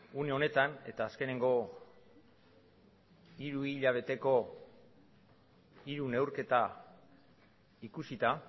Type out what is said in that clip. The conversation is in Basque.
une honetan eta azkeneko hiruhilabeteko hiru neurketa ikusita